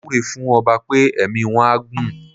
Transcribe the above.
Mo wúre fún ọba pé ẹ̀mí wọ́n á gún.